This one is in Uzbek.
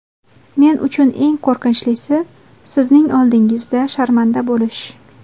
Men uchun eng qo‘rqinchlisi – sizning oldingizda sharmanda bo‘lish.